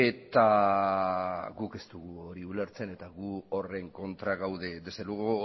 eta guk ez dugu hori ulertzen eta gu horren kontra gaude desde luego